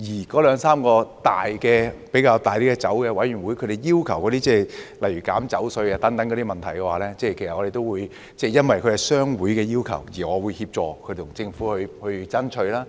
該兩三個較大型酒商提出要求削減酒稅等問題，其實我也會因應商會的要求而協助他們向政府爭取。